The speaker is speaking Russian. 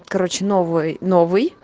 короче новый новый